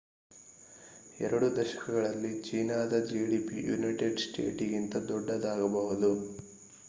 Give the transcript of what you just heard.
ಎರಡು ದಶಕಗಳಲ್ಲಿ ಚೀನಾದ ಜಿಡಿಪಿ ಯುನೈಟೆಡ್ ಸ್ಟೇಟಿಗಿಂತ ದೊಡ್ಡದಾಗಬಹುದು